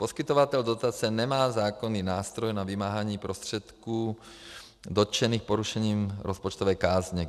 Poskytovatel dotace nemá zákonný nástroj na vymáhání prostředků dotčených porušením rozpočtové kázně.